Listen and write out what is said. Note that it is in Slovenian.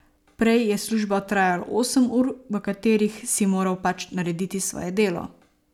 Prej je služba trajala osem ur, v katerih si moral pač narediti svoje delo.